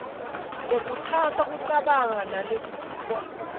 lekhutsata kucabanga nalevutsiwe